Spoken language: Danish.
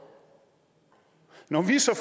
når vi så